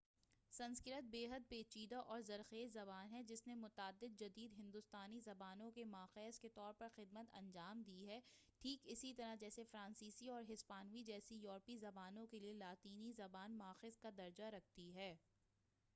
سنسکرت بیحد پیچیدہ اور زرخیز زبان ہے جس نے متعدد جدید ہندوستانی زبانوں کے ماخذ کے طور پر خدمت انجام دی ہے ٹھیک اسی طرح جیسے فرانسیسی اور ہسپانوی جیسی یوروپی زبانوں کیلئے لاطینی زبان ماخذ کا درجہ رکھتی ہے